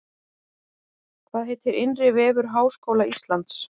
Hvað heitir innri vefur Háskóla Íslands?